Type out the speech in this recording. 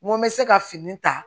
N ko n bɛ se ka fini ta